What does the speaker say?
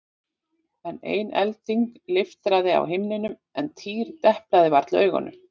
Enn ein elding leiftraði á himninum en Týri deplaði varla augunum.